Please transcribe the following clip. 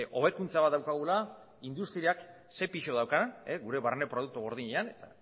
hobekuntza bat daukagula industriak ze pisu daukan gure barne produktu gordinean eta